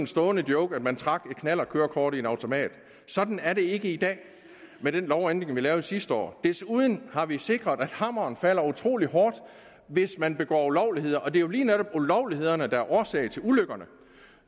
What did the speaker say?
stående joke at man trak et knallertkørekort i en automat sådan er det ikke i dag med den lovændring vi lavede sidste år desuden har vi sikret at hammeren falder utrolig hårdt hvis man begår ulovligheder og det er jo lige netop ulovlighederne der er årsag til ulykkerne